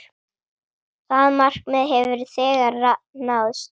Það markmið hefur þegar náðst.